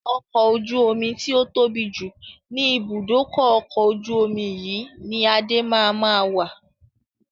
Ọkọ̀ ojú omi tí ó tóbi jù ni ibùdókọ̀ ọkọ̀ ojú omi yìí ni Adé máa ma wà.